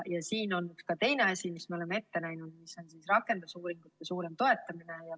Siin on ka teine asi, mille me oleme ette näinud: rakendusuuringute suurem toetamine.